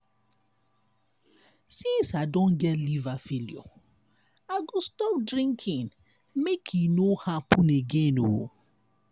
since i don get liver failure i go stop drinking make e no happen again.